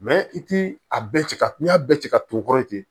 i ti a bɛɛ cɛ ka n'i y'a bɛɛ ci ka ton yen